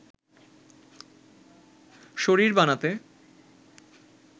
শরীর বানাতে